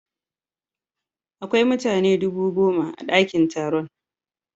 Akwai mutane dubu goma a dakin taron.